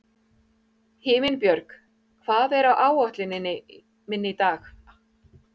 Himinbjörg, hvað er á áætluninni minni í dag?